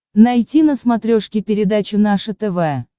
найти на смотрешке передачу наше тв